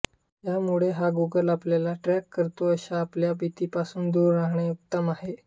त्यामुळे हा गुगल आपल्याला ट्रॅक करतो अशा आपल्या भीतीपासून दूर रहाणे उत्तम आहे